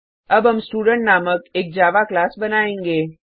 अब हम स्टूडेंट नामक एक जावा क्लास बनायेंगे